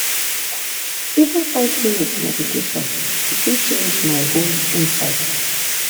even five minutes meditation fit change my whole inside.